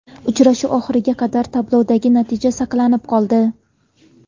Uchrashuv oxiriga qadar tablodagi natija saqlanib qoldi.